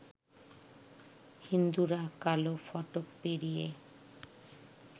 হিন্দুরা কালো ফটক পেরিয়ে